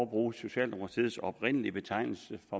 bruge socialdemokratiets oprindelige betegnelse